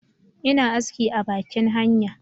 ina aski a bakin hanya